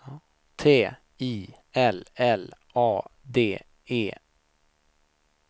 T I L L A D E